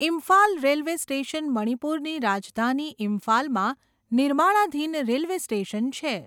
Imphal railway station મણિપુરની રાજધાની ઇમ્ફાલમાં નિર્માણાધીન રેલવે સ્ટેશન છે.